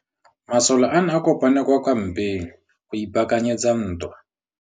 Masole a ne a kopane kwa kampeng go ipaakanyetsa ntwa.